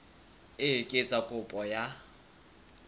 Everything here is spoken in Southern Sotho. e ka etsa kopo ya